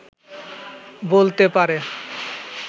বলতে পারে